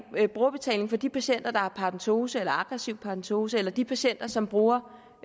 brugerbetalingen for de patienter der har paradentose eller aggressiv paradentose eller de patienter som bruger